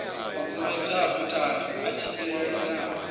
makumedzwa a buthano a tshimbilelanaho